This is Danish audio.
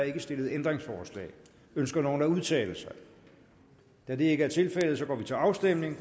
ikke stillet ændringsforslag ønsker nogen at udtale sig da det ikke er tilfældet går vi til afstemning